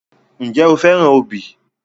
Ǹjẹ́ o fẹ́ràn obì?